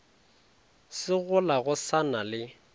segola go sa na le